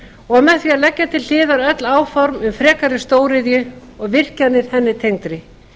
og með því að leggja til hliðar öll áform um frekari stóriðju og virkjanir henni tengdri